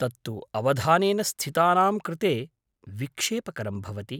तत्तु अवधानेन स्थितानां कृते विक्षेपकरं भवति।